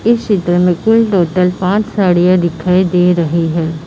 इस चित्र में कुल टोटल पांच साड़ियां दिखाई दे रही है।